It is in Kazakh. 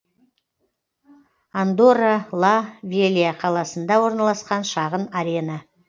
андорра ла велья қаласында орналасқан шағын арена